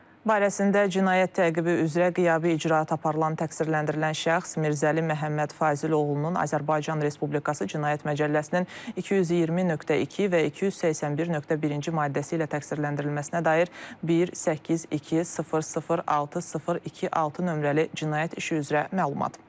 Barəsində cinayət təqibi üzrə qiyabi icraat aparılan təqsirləndirilən şəxs Mirzəli Məhəmməd Fazil oğlunun Azərbaycan Respublikası Cinayət Məcəlləsinin 220.2 və 281.1-ci maddəsi ilə təqsirləndirilməsinə dair 182006026 nömrəli cinayət işi üzrə məlumat.